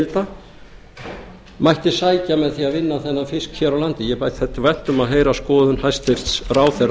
þorskaflaheimilda mætti sækja með því að vinna þennan fisk hér á landi mér þætti vænt um að heyra skoðun hæstvirtur ráðherra